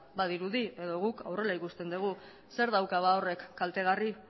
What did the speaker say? badirudi edo guk behintzat horrela ikusten dugu zer dauka horrek kaltegarri